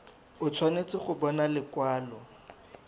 o tshwanetse go bona lekwalo